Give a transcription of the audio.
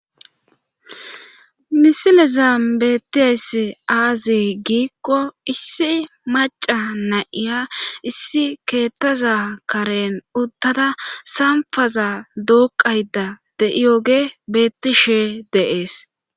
misilezan bettiyayssi aaze giikko issi maca na'iya issi keettaza karen uttada sampaza dooqayda de'iyoge beettishe de'ees